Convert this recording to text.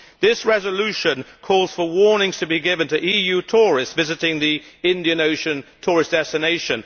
This resolution calls for warnings to be given to EU tourists visiting the Indian Ocean tourist destination.